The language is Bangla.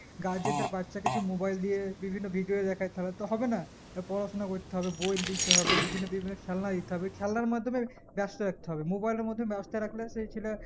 guardian দের বাচ্চাকে mobile দিয়ে বিভিন্ন video দেখায় তাহলে তো হবে না পড়াশোনা করতে হবে বই লিখতে হবে বিভিন্ন বিভিন্ন খেলনা দিতে হবে খেলনার মাধ্যমে ব্যস্ত রাখতে হবে mobile এর মধ্যে বেস্ট রাখলে সেই ছেলে